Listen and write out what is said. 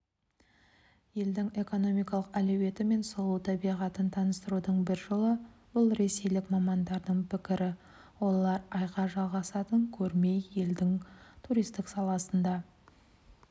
елдің экономикалық әлеуеті мен сұлу табиғатын таныстырудың бір жолы бұл ресейлік мамандардың пікірі олар айға жалғасатын көрме елдің туристік саласын да